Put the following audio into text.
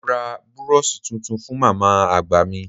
Mo ra búróóṣì tuntun fú màmá àgbà mi.